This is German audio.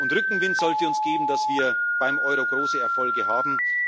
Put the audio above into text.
Rückenwind sollte uns geben, dass wir beim Euro große Erfolge haben.